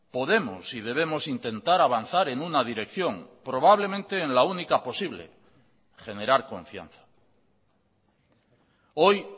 podemos y debemos intentar avanzar en una dirección probablemente en la única posible generar confianza hoy